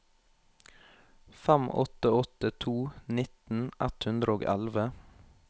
fem åtte åtte to nitten ett hundre og elleve